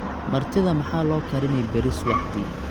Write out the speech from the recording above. martidha maxaa loo karini beri subaxdii